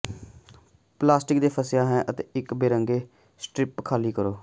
plastic ਤੇ ਫਸਿਆ ਹੈ ਅਤੇ ਇੱਕ ਬਰੰਗੇ ਸਟਰਿੱਪ ਖਾਲੀ ਕਰੋ